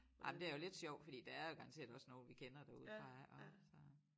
Ej men det er jo lidt sjovt fordi der er jo garanteret også nogen vi kender derudefra og så